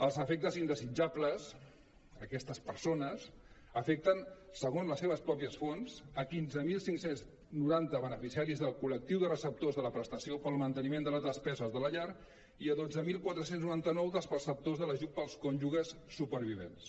els efectes indesitjables a aquestes persones afecten segons les seves pròpies fonts quinze mil cinc cents i noranta beneficiaris del col·lectiu de receptors de la prestació per al mante·niment de les despeses de la llar i dotze mil quatre cents i noranta nou dels preceptors per a l’ajut del cònjuges supervivents